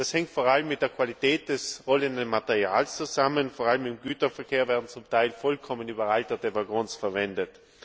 Das hängt vor allem mit der Qualität des rollenden Materials zusammen, vor allem im Güterverkehr werden zum Teil vollkommen überalterte Wagons verwendet.